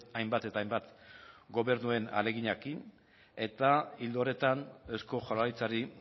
hainbat eta hainbat gobernuen ahaleginarekin eta ildo horretan eusko jaurlaritzari